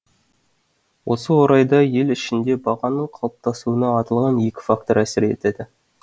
осы орайда ел ішінде бағаның қалыптасуына аталған екі фактор әсер етеді